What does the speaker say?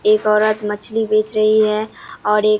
एक औरत मछली बेच रही है और एक --